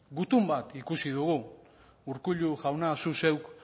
gutun bat ikusi dugu urkullu jauna zu zeuk